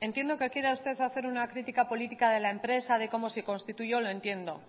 entiendo que quiera usted hacer una crítica política de la empresa de cómo se constituyó lo entiendo